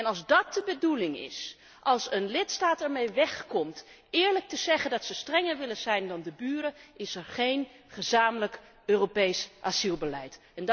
Als dat de bedoeling is, als een lidstaat ermee weg komt eerlijk te zeggen dat hij strenger wil zijn dan de buren, is er geen gezamenlijk Europees asielbeleid.